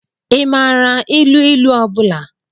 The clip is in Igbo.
Ị maara ilu ilu ọ bụla?